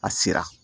A sera